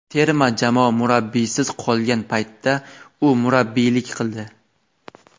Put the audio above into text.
terma jamoa murabbiysiz qolgan paytda u murabbiylik qildi.